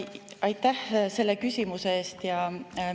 Aitäh selle küsimuse eest!